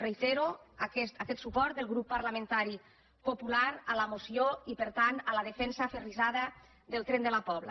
reitero aquest suport del grup parlamentari popular a la moció i per tant a la defensa aferrissada del tren de la pobla